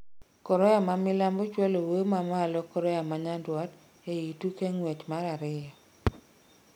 Korea ma Milambo chualo wuoyo ma malo Korea ma Nyandwat ei tuke ng'wech mar ariyo